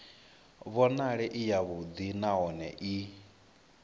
vhonale i yavhuḓi nahone i